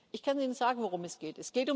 Ich kann Ihnen sagen, worum es geht.